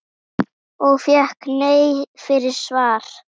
Og fékk nei fyrir svar?